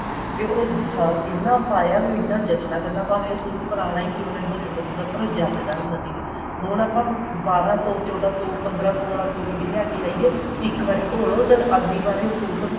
ਤੇ ਉਹ ਜਦ ਇੰਨਾ ਪਾਇਆ ਵੀ ਇੰਨਾ ਜਚਨਾ ਕਰਨਾ ਭਾਵੇਂ ਉਹ suit ਪੁਰਾਣਾ ਕਿਉਂ ਨਾ ਹੋ ਜਾਂਦਾ ਸੀਗਾ ਪਰ ਜਚਦਾ ਹੁੰਦਾ ਸੀ ਹੁਣ ਆਪਾਂ ਬਾਰਾਂ ਸੋ ਚੋਦਾਂ ਸੋ ਪੰਦਰਾ ਸੋ ਵਾਲਾ suit ਵੀ ਲੈਕੇ ਆਈਏ ਇੱਕ ਵਾਰੀ ਧੋ ਲੋ ਤੇ ਅਗਲੀ ਵਾਰੀ suit